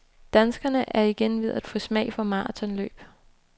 Danskerne er igen ved at få smag for marathonløb.